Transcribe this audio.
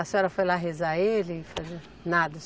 A senhora foi lá rezar ele, fazer nada?